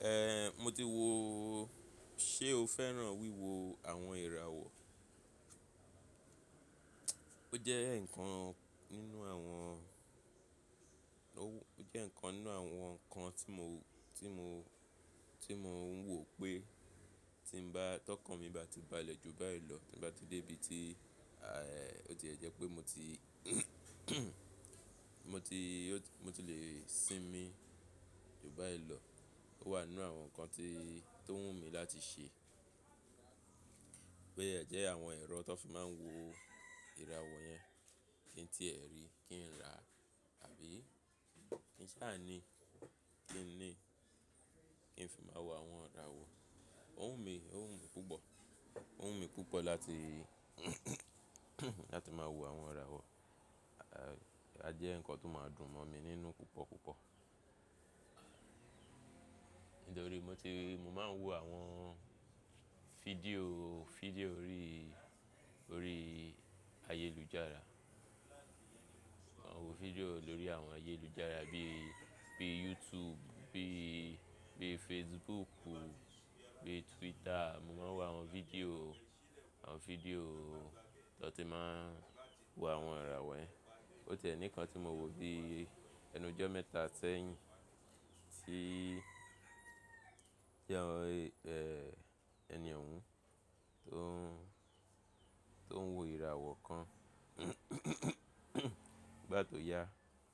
Ehn, mo ti wo, ṣé o féràn wíwo àwọn ìràwọ̀? Ó jẹ́ nǹkan nínú àwọn, ó jẹ́ nǹkan nínú àwọn nǹkan tí mò, tí mò, tí mò ń wò pé tí n bá, tọkàn mi bá ti balẹ̀ ju báyìí lọ, tí n bá ti dé ibi tí, à, ó ti ẹ jẹ́ pé mo ti, mo ti, mo ti lè sinmi ju báyìí lọ. Ó wà nínú àwọn nǹkan tí, tó wù mí láti ṣe. Pé ẹ jẹ́ àwọn ẹ̀rọ tán fi máa ń wo ìràwọ̀ yẹn kí n tí ẹ̀ ri, kí n rà àbí kí n ṣà ni, kí n ní, kí n fi máa wo àwọn ìràwọ̀. Ó wù mí, ó wù mí púpọ̀, ó wù mí púpọ̀ láti, láti máa wo àwọn ìràwọ̀. A, a jẹ́ nǹkan tó máa dùn mọ̀ mí nínú púpọ̀ púpọ̀. Nítorí mo ti, mo máa ń wo àwọn fídíò, fídíò orí, orí ayélujára. Mà wo fídíò lórí àwọn ayélujára bí, bí YouTube, bí, bí Facebook, bí Twitter. Mo máa ń wo àwọn fídíò, àwọn fídíò tán ti máa ń wo àwọn ìràwọ̀ yẹn. Ó tìẹ nìkan tí mò wò bí ẹnu ọjọ́ mẹ́ta sẹ́yìn tí, tí àwọn, ẹni ọhun tó ń, tó ń wo ìràwọ̀ kan bá tó ya,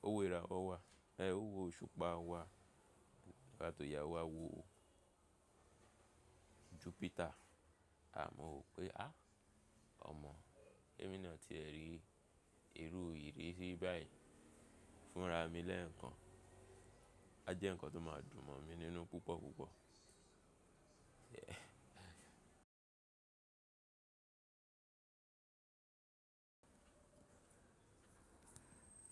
ó wo ìràwọ̀ wa. O wo òṣùpá wa nígbà to ya o wa wo Jupiter. A, mo wò pé à, ọmọ. Ẹ̀, mí náà ti ẹ̀ ri ìrù ìrírí báyìí fúnra mi lẹ́ẹ̀kan. A jẹ́ nǹkan tó máa dùn mọ̀ mí nínú púpọ̀ púpọ̀.